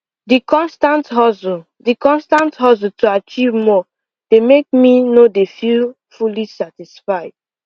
the constant hustle the constant hustle to achieve more dey make me no dey feel fully satisfied